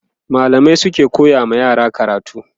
mallamai suke koya wa yara karatu